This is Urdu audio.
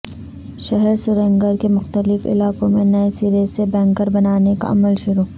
شہر سرینگر کے مختلف علاقوں میں نئے سرے سے بنکر بنانے کا عمل شروع